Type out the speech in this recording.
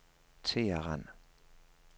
Teheran